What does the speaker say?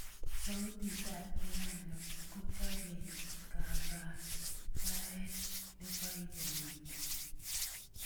sautit ap piano kochapei kakaikaet neipoipoiti